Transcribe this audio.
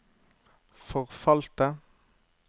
forfalte